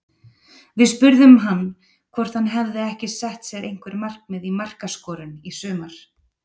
Við spurðum hann hvort hann hafi ekki sett sér einhver markmið í markaskorun í sumar?